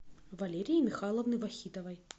валерии михайловны вахитовой